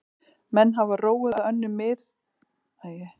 ef málefni snertir viðskiptaleyndarmál.